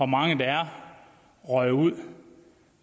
mange der er røget ud